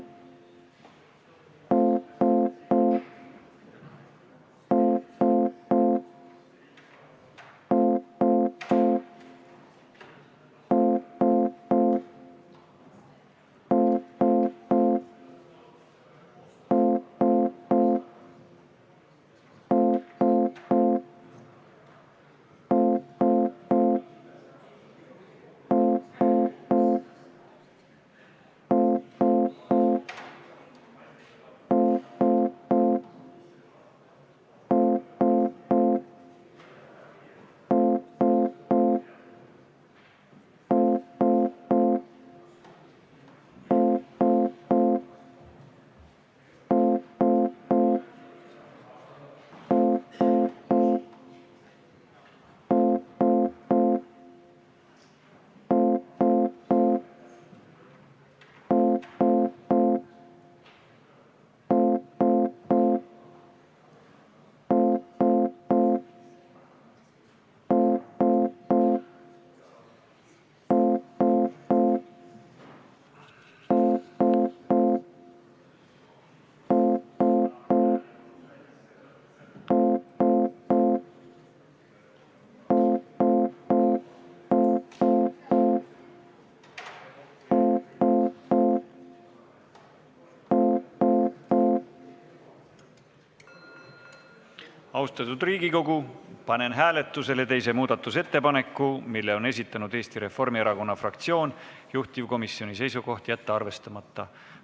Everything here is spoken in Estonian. Lugupeetud Riigikogu, panen hääletusele teise muudatusettepaneku, mille on esitanud Eesti Reformierakonna fraktsioon, juhtivkomisjoni seisukoht: jätta arvestamata.